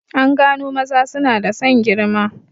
An gano maza suna da son girma